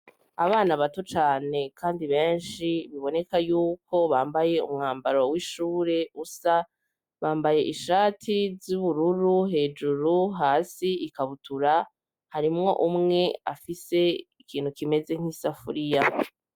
Abana bato cane, kandi benshi biboneka yuko bambaye umwambaro w'ishure usa bambaye ishati z'ubururu hejuru hasi ikabutura harimwo umwe afise ikintu kimeze nk'i safuriya.